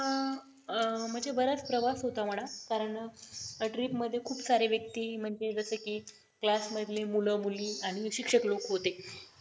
अं बराच प्रवास होता म्हणा कारण trip मध्ये खूप सारे व्यक्ती म्हणजे जस कि class मधले मुलं मुली आणि शिक्षक लोक होते